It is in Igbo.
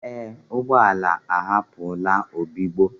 Ee, ụgbọ ala ahapụlarị obigbo.